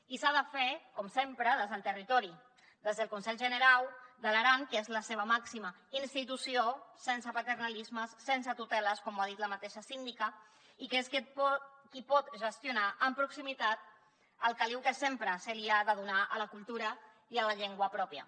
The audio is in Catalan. i s’ha de fer com sempre des del territori des del conselh generau de l’aran que és la seva màxima institució sense paternalismes sense tuteles com ho ha dit la mateixa síndica i que és qui pot gestionar amb proximitat el caliu que sempre se li ha de donar a la cultura i a la llengua pròpia